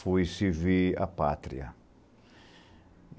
fui servir a pátria.